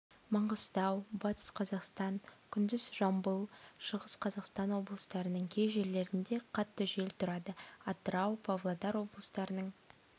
маңғыстау батыс қазақстан күндіз жамбыл шығыс қазақстан облыстарының кей жерлерінде қатты жел тұрады атырау павлодар облыстарының